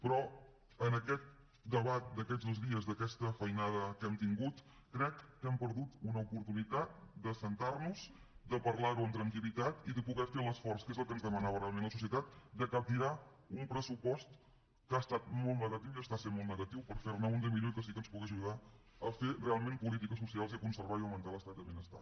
però en aquest debat d’aquests dos dies d’aquesta feinada que hem tingut crec que hem perdut una oportunitat d’asseure’ns de parlar ho amb tranquil·litat i de poder fer l’esforç que és el que ens demanava realment la societat de capgirar un pressupost que ha estat molt negatiu i està sent molt negatiu per fer ne un de millor i que sí que ens pugui ajudar a fer realment política social i a conservar i augmentar l’estat del benestar